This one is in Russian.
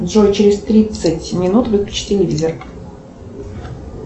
джой через тридцать минут выключи телевизор